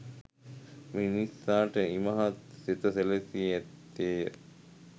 මිනිසාට ඉමහත් සෙත සැලසී ඇත්තේය